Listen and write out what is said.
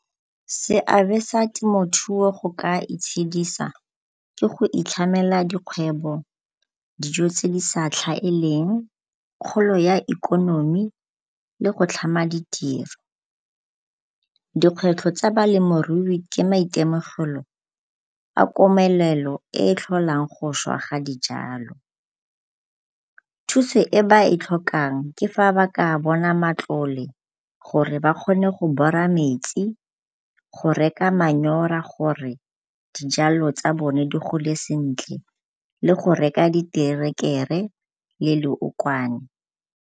Seabe sa temothuo go ka itshedisa ke go itlhamela dikgwebo, dijo tse di sa tlhaeleng, kgolo ya ikonomi le go tlhama ditiro. Dikgwetlho tsa balemirui ke maitemogelo a komelelo e e tlholang go šwa ga dijalo. Thuso e ba e tlhokang ke fa ba ka bona matlole gore ba kgone go bora metsi, go reka manyora gore dijalo tsa bone di gole sentle le go reka diterekere le leokwane.